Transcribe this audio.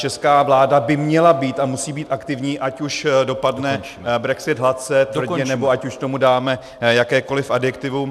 Česká vláda by měla být a musí být aktivní, ať už dopadne brexit hladce, tvrdě, nebo ať už tomu dáme jakékoliv adjektivum.